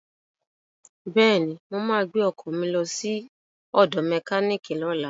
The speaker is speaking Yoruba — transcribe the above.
Bẹ́ẹ̀ni, mo ma gbẹ́ ọkọ̀ lọ sí ọ̀dọ̀ mẹkíníìkì lọ́la